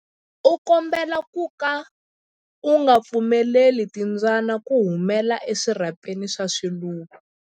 U komberiwa ku ka u nga pfumeleli timbyana ku humela eswirhapeni swa swiluva.